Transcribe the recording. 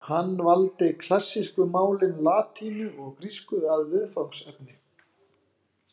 Hann valdi klassísku málin latínu og grísku að viðfangsefni.